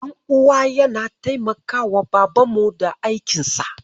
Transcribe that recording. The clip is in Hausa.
Ɗan uwana yana taimakawa babanmu da aikinsa.